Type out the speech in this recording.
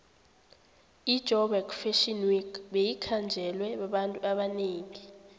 ijoburg fashion week beyikhanjelwe babantu abanengi